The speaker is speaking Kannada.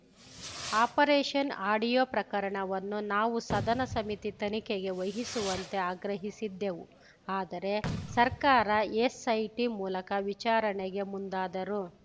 ಆಪರೇಷನ್‌ ಆಡಿಯೋ ಪ್ರಕರಣವನ್ನು ನಾವು ಸದನ ಸಮಿತಿ ತನಿಖೆಗೆ ವಹಿಸುವಂತೆ ಆಗ್ರಹಿಸಿದ್ದೆವು ಆದರೆ ಸರ್ಕಾರ ಎಸ್‌ಐಟಿ ಮೂಲಕ ವಿಚಾರಣೆಗೆ ಮುಂದಾದರು